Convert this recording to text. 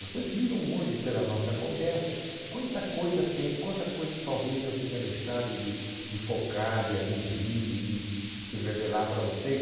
Vocês viram hoje pela nossa conversa quanta coisa tem, quanta coisa talvez eu tenha deixado de de focar, de aduzir, de de de revelar para vocês.